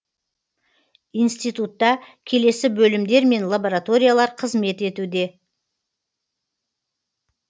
институтта келесі бөлімдер мен лабораториялар қызмет етуде